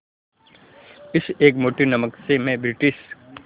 इस एक मुट्ठी नमक से मैं ब्रिटिश